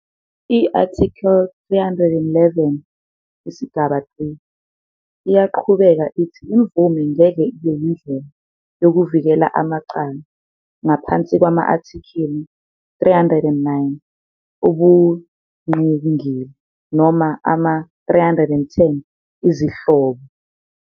I-Article 311, 3, iyaqhubeka ithi imvume ngeke ibe yindlela yokuvikela amacala ngaphansi kwama-athikili 309, ubungqingili, noma ama-310, izihlobo.